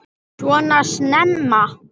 Svona snemma?